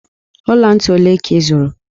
Ọla ntị ole ka ị zụrụ?